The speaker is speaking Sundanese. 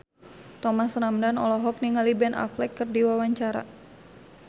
Thomas Ramdhan olohok ningali Ben Affleck keur diwawancara